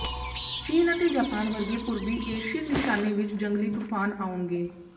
ਚੀਨ ਅਤੇ ਜਾਪਾਨ ਵਰਗੇ ਪੂਰਬੀ ਏਸ਼ੀਅਨ ਨਿਸ਼ਾਨੇ ਵਿੱਚ ਜੰਗਲੀ ਤੂਫ਼ਾਨ ਆਉਣਗੇ